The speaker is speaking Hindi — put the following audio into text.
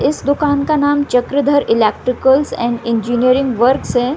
इस दुकान का नाम Chakradhar electricals and engineerings works हैं।